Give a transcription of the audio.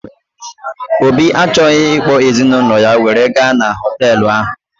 Obi achọghị ịkpọ ezinaụlọ ya were gaa n'hotelu ahụ